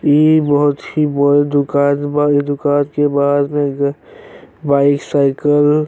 इ बहुत ही बड़ दुकान बा। इ दुकान के बाईसाइकल --